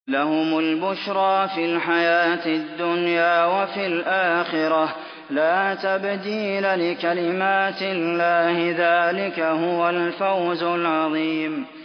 لَهُمُ الْبُشْرَىٰ فِي الْحَيَاةِ الدُّنْيَا وَفِي الْآخِرَةِ ۚ لَا تَبْدِيلَ لِكَلِمَاتِ اللَّهِ ۚ ذَٰلِكَ هُوَ الْفَوْزُ الْعَظِيمُ